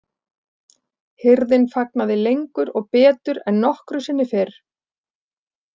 Hirðin fagnaði lengur og betur en nokkru sinni fyrr.